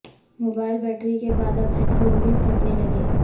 mobile battery کے بعد اب ہیڈ فون بھی پھٹنے لگے